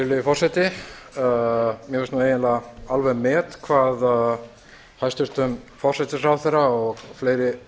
virðulegi forseti mér finnst eiginlega alveg met hvað hæstvirtum forsætisráðherra og fleiri